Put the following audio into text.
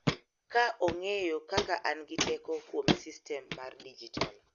Ka ong�eyo kaka an gi teko kuom sistem mar dijitol.